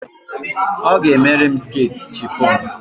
Ọ ga-emere m sketi chifon.